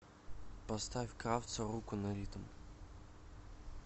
поставь кравца руку на ритм